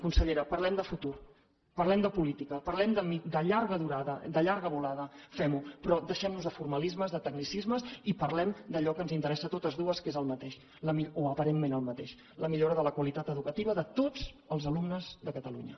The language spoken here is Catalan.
consellera parlem de futur parlem de política parlem de llarga durada de llarga volada fem ho però deixem nos de formalismes de tecnicismes i parlem d’allò que ens interessa a totes dues que és el mateix o aparentment el mateix la millora de la qualitat educativa de tots els alumnes de catalunya